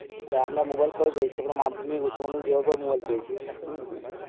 আরে আমরা মোবাইল কবে পেয়েছি আমরা মাধ্যমিক উচ্চমাধ্যমিক দেওয়ার পরে mobile পেয়েছি হম